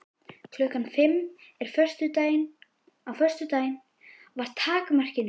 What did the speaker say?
Klukkan fimm á föstudaginn var takmarkinu náð.